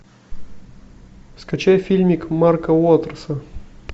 скачай фильмик марка уотерса